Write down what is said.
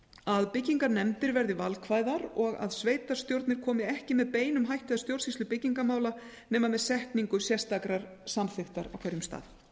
að byggingarnefndir verði valkvæðar og að sveitarstjórnir komi ekki með beinum hætti að stjórnsýslu byggingarmála nema með setningu sérstakrar samþykktar á hverjum stað